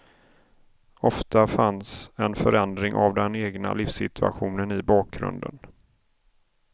Ofta fanns en förändring av den egna livssituationen i bakgrunden.